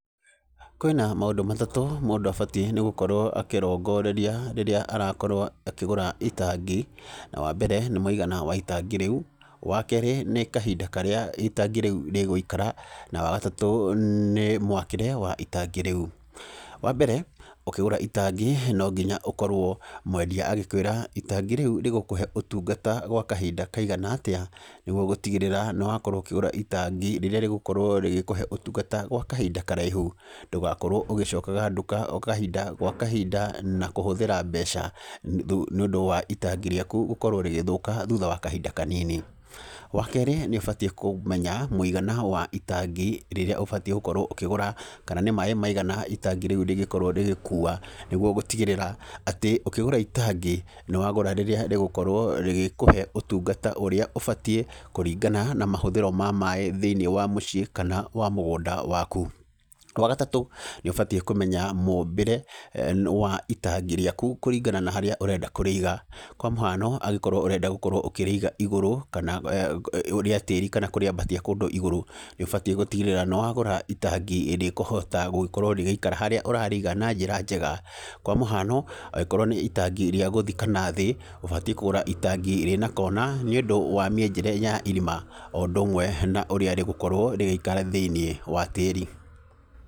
Kwĩna maũndũ matatũ mũndũ abatiĩ nĩ gũkorwo akĩrongoreria rĩrĩa arakorwo akĩgũra itangi. Na wa mbere, nĩ mũigana wa itangi rĩu, wa keerĩ nĩ kahinda karĩa itangi rĩu rĩgũikara, na wa gatatũ nĩ mwakĩre wa itangi rĩu. Wa mbere, ũkĩgũra itangi, no nginya ũkorwo mwendia agĩkwĩra itangi rĩu rĩgũkũhe ũtungata gwa kahinda kaigana atĩa, nĩguo gũtigĩrĩra nĩ wakorwo ũkĩgũra itangi rĩrĩa rĩgũkorwo rĩgĩkũhe ũtungata gwa kahinda karaihu. Ndũgakorwo ũgĩcokaga nduka o kahinda gwa kahinda na kũhũthĩra mbeca nĩ ũndũ wa itangi rĩaku gũkorwo rĩgĩthũka thutha wa kahinda kanini. Wa keerĩ, nĩ ũbatiĩ kũmenya mũigana wa itangi rĩrĩa ũbatiĩ gũkorwo ũkĩgũra, kana nĩ maĩ maigana itangi rĩu rĩngĩkorwo rĩgĩkuua, nĩguo gũtigĩrĩra atĩ, ũkĩgũra itangi nĩ wagũra rĩrĩa rĩgokorwo rĩgĩkũhe ũtungata ũrĩa ũbatiĩ, kũringana na mahũthĩro ma maĩ thĩiniĩ wa mũciĩ kana wa mũgũnda waku. Wa gatatũ, nĩ ũbatiĩ kũmenya mũũmbĩre wa itangi rĩaku kũringana na harĩa ũrenda kũrĩiga. Kwa mũhano angĩkorwo ũrenda gũkorwo ũkĩrĩiga igũrũ, kana rĩa tĩri kana kũrĩambatia kũndũ igũrũ, nĩ ũbatiĩ gũtigĩrĩra nĩ wagũra itangi rĩkũhota gũgĩkorwo rĩgĩikara harĩa ũrarĩiga na njĩra njega. Kwa mũhano, angĩkorwo nĩ itangia rĩa gũthika nathĩ, ũbatiĩ kũgũra itangi rĩna kona, nĩ ũndũ wa mĩenjere ya irima, o ũndũ ũmwe na ũrĩa rĩgĩkorwo rĩgĩikara thĩiniĩ wa tĩri.